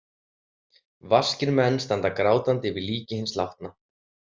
Vaskir menn standa grátandi yfir líki hins látna.